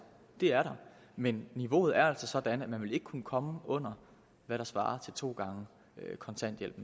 det er der men niveauet er altså sådan at man vil kunne komme under hvad der svarer til to gange kontanthjælp